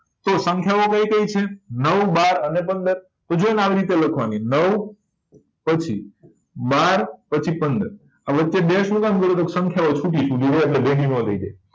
તો સંખ્યાઓ કઈ કઈ છે નવ બાર અને પંદર તો જો ને આને આવી રીતે લખવા ની નવ પછી બાર પછી પંદર આ વચે શું કામ કર્યું કે સંખ્યા ઓ છૂટી છૂટી હોય એટલે ભેગી નાં થઇ જાય